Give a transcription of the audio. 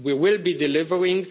We will be delivering.